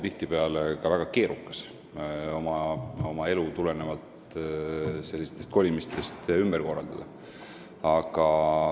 Tihtipeale on ka väga keerukas oma elu tulenevalt sellistest kolimistest ümber korraldada.